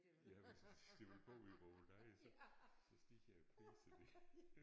Ja hvis de vil bo i vore leje så så stiger priserne